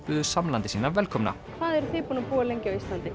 buðu samlanda sína velkomna hvað er þið búin að búa lengi á Íslandi